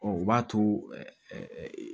o b'a to ɛɛ